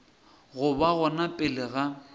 go ba gona pele ga